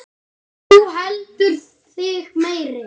Þú heldur þig meiri.